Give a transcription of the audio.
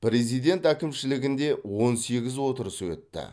президент әкімшілігінде он сегіз отырысы өтті